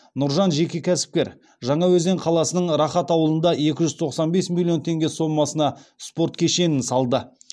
нұржан жеке кәсіпкер жаңаөзен қаласының рахат ауылында екі жүз тоқсан бес миллион теңге сомасына спорт кешенін салды